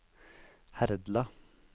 Herdla